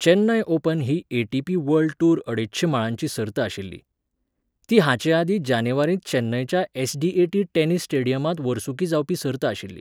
Chennai open ही ATP. World tour अडेचशें माळांची सर्त आशिल्ली. ती हाचे आदीं जानेवारींत चेन्नयच्या एस.डी.ए.टी. टेनिस स्टेडियमांत वर्सुकी जावपी सर्त आशिल्ली.